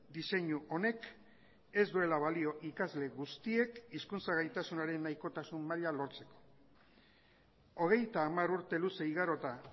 diseinu honek ez duela balio ikasle guztiek hizkuntza gaitasunaren nahikotasun maila lortzeko hogeita hamar urte luze igarota